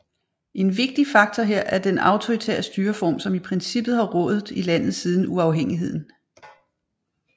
En vigtig faktor her er den autoritære styreform som i princippet har rådet i landet siden uafhængigheden